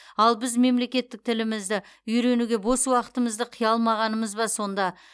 ал біз мемлекеттік тілімізді үйренуге бос уақытымызды қия алмағанымыз ба сонда